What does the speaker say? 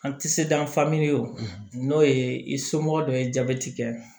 An ti se da an famu ye o n'o ye i somɔgɔ dɔ ye jabɛti kɛ